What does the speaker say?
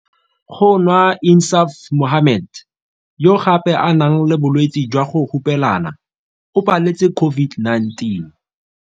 Go nwa Insaaf Mohammed, yo gape a nang le bolwetse jwa go hupelana, o paletse COVID-19.